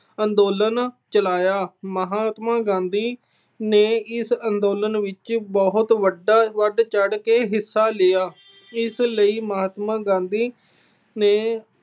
ਅੰਦੋਲਨ ਚਲਾਇਆ। ਮਹਾਤਮਾ ਗਾਂਧੀ ਨੇ ਇਸ ਅੰਦੋਲਨ ਵਿੱਚ ਬਹੁਤ ਵੱਡਾ ਅਹ ਵਧ ਚੜ੍ਹ ਕੇ ਹਿੱਸਾ ਲਿਆ। ਇਸ ਲਈ ਮਹਾਤਮਾ ਗਾਂਧੀ ਨੇ